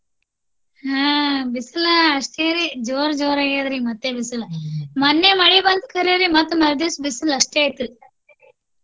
ಆಹ್ ಬಿಸಿಲು ಅಷ್ಟೇ ರಿ ಜೋರ ಜೋರ ಆಗೇದರಿ ಮತ್ತೆ ಬಿಸಿಲು ಮೊನ್ನೆ ಮಳಿ ಬಂತಾ ಖರೆ ರಿ ಮತ್ತ ಮರದಿವಸ ಬಿಸಿಲು ಅಷ್ಟೇ ಇತ್ರಿ.